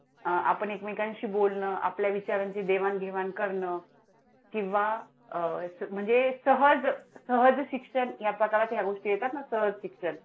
अं आपण एकमेकांशी बोलणं, आपल्या विचारांची देवाण घेवाण करणं किंवा अं म्हणजे सहज, सहज शिक्षण या प्रकारात या गोष्टी येतात ना सहज शिक्षण.